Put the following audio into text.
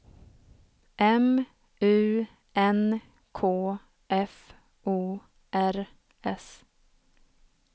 M U N K F O R S